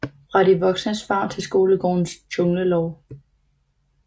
Fra de voksnes favn til skolegårdens junglelov